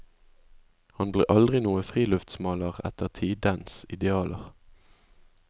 Han ble aldri noen friluftsmaler etter tidens idealer.